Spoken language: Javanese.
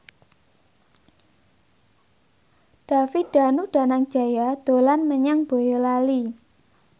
David Danu Danangjaya dolan menyang Boyolali